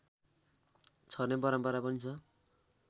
छर्ने परम्परा पनि छ